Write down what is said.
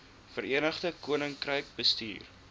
verenigde koninkryk bestuur